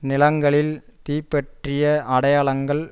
நிலங்களில் தீப்பற்றிய அடையாளங்கள்